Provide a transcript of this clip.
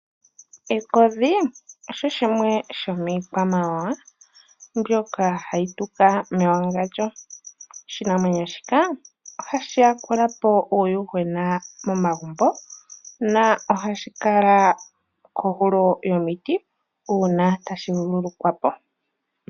Ekodhi osho oshimwe shomiikwamawawa mbyoka hayi tuka mewagandjo, oshinamwenyo shika ohasji yakula po uuyuhwena momagumbo na ohashi kala kohulo yomiti uuna tashi vulukwa po.